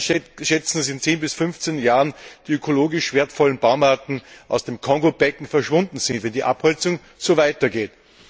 Experten schätzen, dass in 10 bis 15 Jahren die ökologisch wertvollen Baumarten aus dem Kongo Becken verschwunden sein werden, wenn die Abholzung so weiter geht.